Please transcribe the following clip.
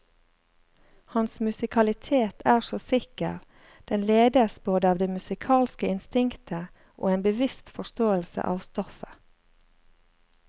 Hans musikalitet er så sikker, den ledes både av det musikalske instinktet og en bevisst forståelse av stoffet.